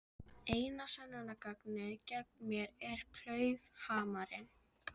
Mig dreymdi illa, snökti hann með hárið í svitastorkinni bendu.